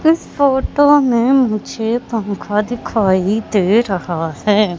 इस फोटो में मुझे पंखा दिखाई दे रहा है।